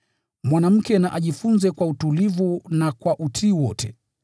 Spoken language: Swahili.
Mwanamke na ajifunze kwa utulivu na kwa utiifu wote.